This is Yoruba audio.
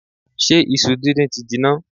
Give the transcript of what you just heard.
Ṣé isu díndín ti jinná?